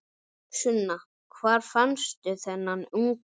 Sunna: Hvar fannstu þennan unga?